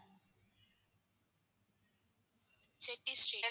Shetty street